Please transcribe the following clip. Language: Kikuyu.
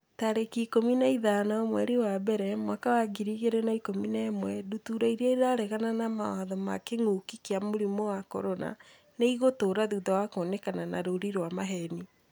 tarĩki ikũmi na ithano mweri wa mbere mwaka wa ngiri igĩrĩ na ikũmi na ĩmwe Ndutura irĩa 'ĩraregana na mawatho ma kĩngũki kia mũrimũ wa CORONA nĩ ĩgũtũra thutha wa kuonekana na rũũri rwa maheeni.